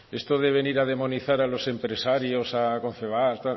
esto de venir a demonizar a los empresarios a confebask